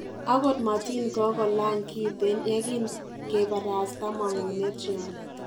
Akot matin kongo lany kiten yekinge parasta mang'unet nywan